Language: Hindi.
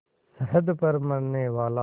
सरहद पर मरनेवाला